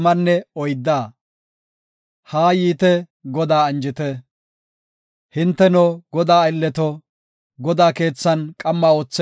Hinteno, Godaa aylleto, Godaa keethan qamma ootheysato, ubbay yidi Godaa galatite.